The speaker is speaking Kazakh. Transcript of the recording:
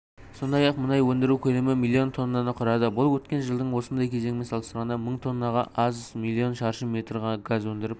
сондай-ақ мұнай өндіру көлемі миллион тоннаны құрады бұл өткен жылдың осындай кезеңімен салыстырғанда мың тоннаға аз миллион шаршы метр газ өндіріліп